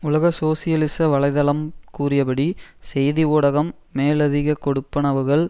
உலக சோசியலிச வலை தளம் கூறியபடி செய்தி ஊடகம் மேலதிக கொடுப்பனவுகள்